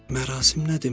Mərasim nə deməkdir?